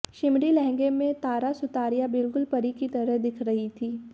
shimmery लहंगे में तारा सुतारिया बिलकुल परी की तरह दिख रही थी